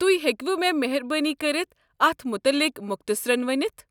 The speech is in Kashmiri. توہہِ ہیكوٕ مےٚ مہربٲنی كٔرِتھ اتھ متعلق مۄضتصرن ؤنتھ؟